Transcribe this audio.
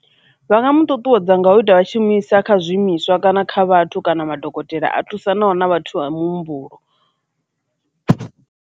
Vha nga mu ṱuṱuwedza nga u ita vha tshi mu isa kha zwiimiswa kana kha vhathu kana madokotela a thusanaho na vhathu vha muhumbulo.